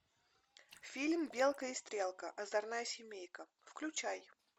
фильм белка и стрелка озорная семейка включай